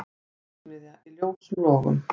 Verksmiðja í ljósum logum